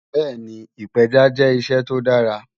Bẹ́ẹni, ìpẹja jẹ́ iṣẹ́ tó dàrà